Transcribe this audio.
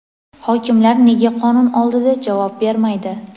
Hokimlar nega qonun oldida javob bermaydi?.